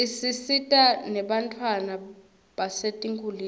isita nebantfwana basetinkitulisa